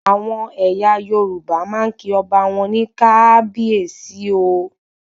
Àwọn ẹyà Yorùbá máa ń kí ọba wọn ní "kabiesi o"